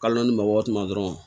Kalo naani mɔgɔ ma dɔrɔn